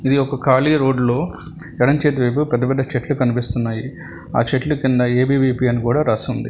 ఇది ఒక ఖాళీ రోడ్డు ఎడమ చేతి వైపు పెద్ద పెద్ద చెట్లు కనిపిస్తున్నాయి ఆ చెట్లు కింద ఏ_బి వి_పి అని కూడా రాసింది.